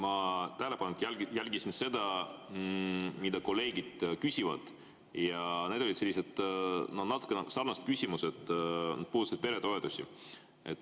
Ma tähelepanelikult jälgisin seda, mida kolleegid küsivad, ja need olid sellised natuke sarnased küsimused, mis puudutasid peretoetusi.